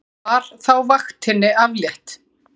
Var þá vaktinni aflétt.